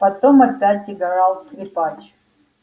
потом опять играл скрипач